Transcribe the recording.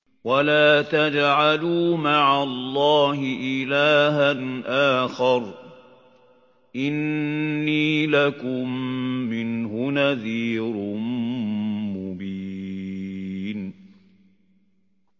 وَلَا تَجْعَلُوا مَعَ اللَّهِ إِلَٰهًا آخَرَ ۖ إِنِّي لَكُم مِّنْهُ نَذِيرٌ مُّبِينٌ